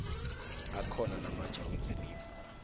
akhona namatjha wezelimo